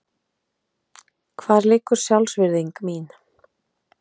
Hvar liggur sjálfsvirðing mín?